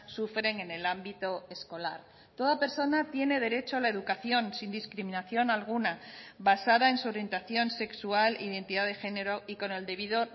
sufren en el ámbito escolar toda persona tiene derecho a la educación sin discriminación alguna basada en su orientación sexual identidad de género y con el debido